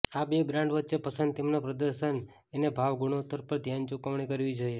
આ બે બ્રાન્ડ વચ્ચે પસંદ તેમના પ્રદર્શન અને ભાવ ગુણોત્તર પર ધ્યાન ચૂકવણી કરવી જોઇએ